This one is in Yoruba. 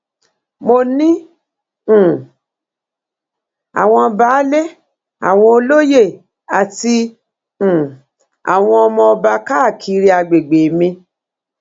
mo ní um àwọn baálé àwọn olóye àti um àwọn ọmọ ọba káàkiri àgbègbè mi